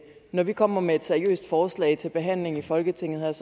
når vi kommer med et seriøst forslag til behandling i folketinget